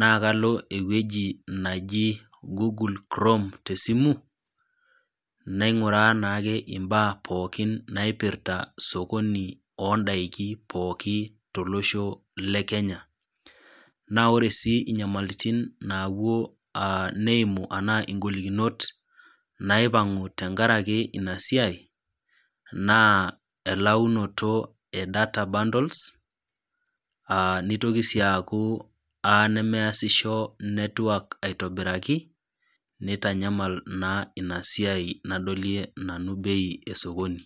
naa kalo ewueji naji Google Chrome te esimu naing'uraa naa imbaa pooki naipirta sokoni oo ndaiki pooki, tolosho le Kenya, naa ore sii inyamalitin naapuo neimu anaa ing'olikinot naipang'u tenkaraki ina siai naa elaunoto e data bundles, neitoki sii aaku eyaa nemeasisho network aitobiraki neitanyamal naa ina siai naa nadolie bei e sokoni.